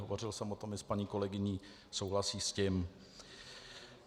Hovořil jsem o tom i s paní kolegyní, souhlasí s tím.